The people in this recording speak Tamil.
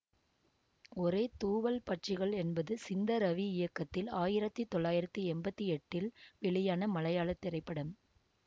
ஒரே தூவல் பட்சிகள் என்பது சிந்த ரவி இயக்கத்தில் ஆயிரத்தி தொள்ளாயிரத்தி எம்பத்தி எட்டில் வெளியான மலையாள திரைப்படம்